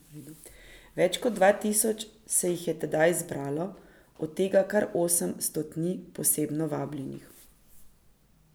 Več kot dva tisoč se jih je tedaj zbralo, od tega kar osem stotnij posebno vabljenih.